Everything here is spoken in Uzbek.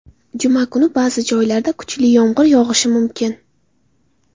Juma kuni ba’zi joylarda kuchli yomg‘ir yog‘ishi mumkin.